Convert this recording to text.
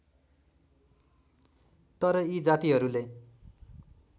तर यी जातिहरूले